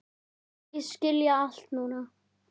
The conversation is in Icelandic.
Segist skilja allt núna.